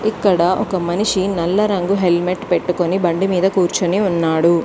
ఇక్కడ ఒక మనిషి నల్ల రంగు హెల్మెట్ పెట్టుకుని బండిమీద కూర్చుని ఉన్నాడు